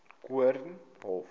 koornhof